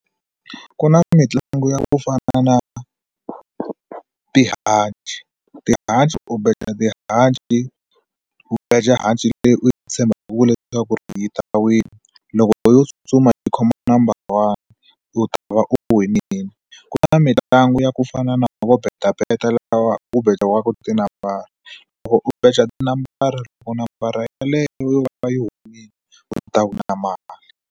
Ku na mitlangu ya ku fana na tihanci tihanci u beja tihanci u beje hanci leyi u yi tshembaku leswaku yi ta wina loko yo tsutsuma yi khoma number one u ta va u winile ku na mitlangu ya ku fana na vo Beta Beta laha ku bejiwaka tinambara loko u beja tinambara loko nambara yeleyo yo va yi humile u ta kuma mali.